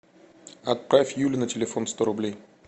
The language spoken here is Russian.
отправь юле на телефон сто рублей